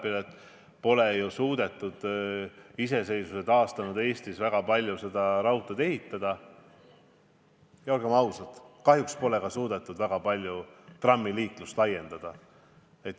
Nagu ma ütlesin härra Kaalepile, iseseisvuse taastanud Eestis pole väga palju raudteid ehitud ja olgem ausad, kahjuks pole ka suudetud väga palju trammiliiklust laiendada.